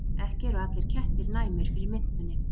Ekki eru allir kettir næmir fyrir mintunni.